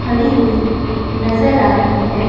खड़ी हुई नज़र आ रही है।